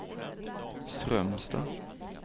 Strömstad